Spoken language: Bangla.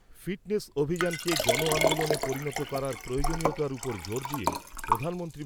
ফিটনেস অভিযানকে জন আন্দোলনে পরিণত করার প্রয়োজনীয়তার উপর জোর দিয়ে প্রধানমন্ত্রী।